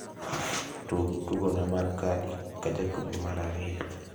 tug tugonmar kadi ka jatugo mar ariyo